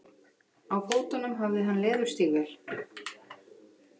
Á fótum hafði hann leðurstígvél.